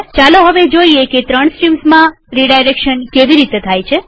ચાલો હવે જોઈએ કે ત્રણ સ્ટ્રીમ્સમાં રીડાયરેક્શન કેવી રીતે થાય છે